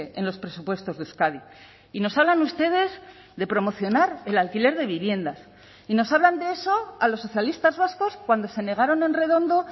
en los presupuestos de euskadi y nos hablan ustedes de promocionar el alquiler de viviendas y nos hablan de eso a los socialistas vascos cuando se negaron en redondo